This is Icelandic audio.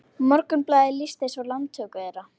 Morgunblaðið lýsti svo landtöku þeirra